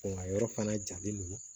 yɔrɔ fana jalen don